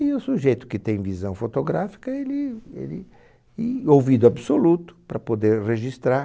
E o sujeito que tem visão fotográfica, ele, ele, e ouvido absoluto, para poder registrar,